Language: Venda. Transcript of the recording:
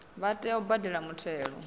vha tea u badela muthelo